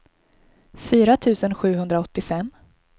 fyra tusen sjuhundraåttiofem